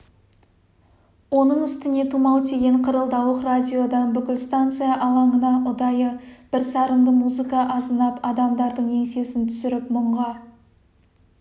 оның үстіне тұмау тиген қырылдауық радиодан бүкіл станция алаңына ұдайы бір сарынды музыка азынап адамдардың еңсесін түсіріп мұңға